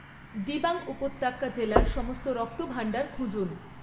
দিবাং উপত্যকা জেলার সমস্ত রক্তভাণ্ডার খুঁজুন